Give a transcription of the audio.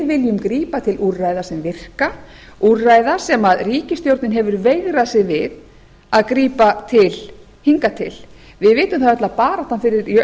viljum grípa til úrræða sem virka úrræða sem ríkisstjórnin hefur veigrað sér við að grípa til hingað til við vitum það öll að baráttan fyrir launajafnrétti